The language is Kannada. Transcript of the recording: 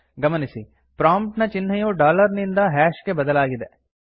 ಗಮನಿಸಿ ಪ್ರೊಮ್ಪ್ಟ್ ನ ಚಿಹ್ನೆಯು ಡಾಲರ್ ನಿಂದ ಹ್ಯಾಷ್ ಗೆ ಬದಲಾಗಿದೆ